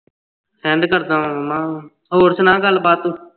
send ਕਰਦਾ ਮਾਮਾ ਹੋਰ ਸੁਣਾ ਗਲਬਾਤ ਤੂੰ